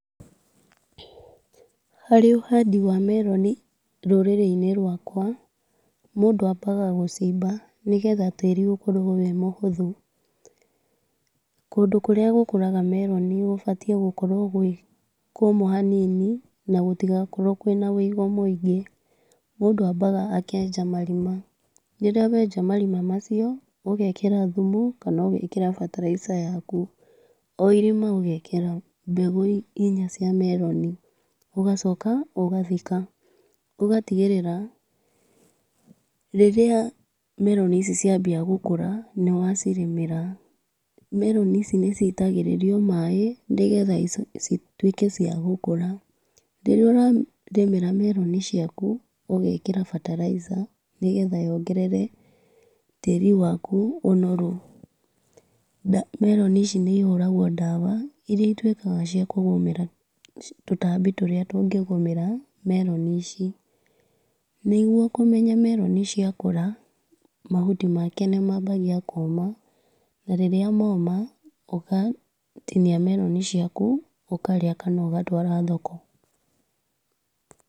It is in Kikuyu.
Harĩ ũhandi wa meroni rũrĩrĩ-inĩ rwakwa, mũndũ ambaga gũcimba, nĩgetha tĩri ũkorwo ũrĩ mũhũthũ. Kũndũ kũrĩa gũkũraga meroni gũbatiĩ gũkorwo gwĩ kũmũ hanini na gũtigakorwo kũrĩ na ũigũ mũingĩ. Mũndũ ambaga akenja marima, rĩrĩa wenja marima macio, ũgekĩra thumu kana ũgekĩra bataraica yaku, o irima ũgekĩra mbegũ inya cia meroni, ũgacoka ũgathika. Ũgatigĩrĩra rĩrĩa meroni ici ciambia gũkũra nĩwacirĩmĩra, meroni ici nĩcitagĩrĩrio maaĩ, nĩgetha cituĩke cia gũkũra. Rĩrĩa ũrarĩmĩra meroni ciaku, ũgekĩra bataraica, nĩgetha yongerere tĩri waku ũnoru. Meroni ici nĩcihũragwo ndawa irĩa ituĩkaga cia tũtambi tũrĩa tũngĩgũmĩra meroni ici. Nĩguo kũmenya meroni ciakũra, mahuti make nĩmambagia kũma, na rĩrĩa moma ũgatinia meroni ciaku ũkarĩa kana ũgatwara thoko.